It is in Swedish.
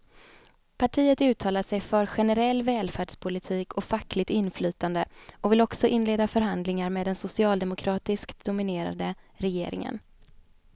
Partiet uttalar sig för generell välfärdspolitik och fackligt inflytande och vill också inleda förhandlingar med den socialdemokratiskt dominerade regeringen.